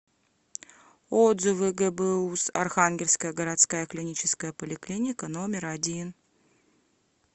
отзывы гбуз архангельская городская клиническая поликлиника номер один